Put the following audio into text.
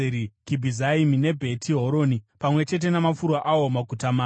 Kibhizaimi neBheti Horoni, pamwe namafuro awo, maguta mana.